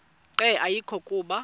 nqe ayekho kuba